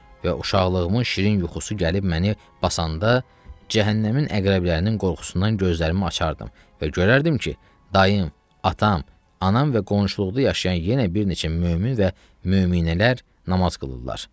Və uşaqlığımın şirin yuxusu gəlib məni basanda cəhənnəmin əqrəblərinin qorxusundan gözlərimi açardım və görərdim ki, dayım, atam, anam və qonşuluqda yaşayan yenə bir neçə mömin və möminələr namaz qılırlar.